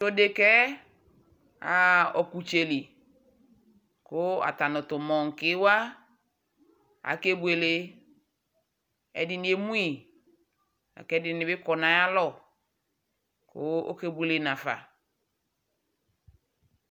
tʋɔɖekaɛ aha okʋtseli kʋ atanʋ tʋ ɔkplawa akebʋele ɛɖini emʋi akɛɖinibi kɔ nayalɔ kʋ ɔkebʋele naƒa